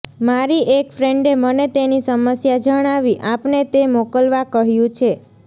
મારી એક ફ્રેન્ડે મને તેની સમસ્યા જણાવી આપને તે મોકલવા કહ્યું છે